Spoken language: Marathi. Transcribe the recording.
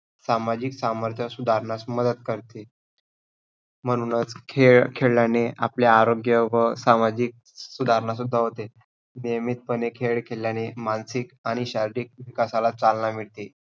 सामाजिक सामर्थ्य सुधारण्यास मदत करते. म्हणूनच खेळ खेळल्याने आपल्या आरोग्य व सामाजिक सुधारणा सुद्धा होते. नियमितपणे खेळ खेळल्याने मानसिक आणि शारीरिक विकासाला चालना मिळते.